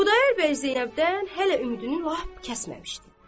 Xudayar bəy Zeynəbdən hələ ümidini lap kəsməmişdi.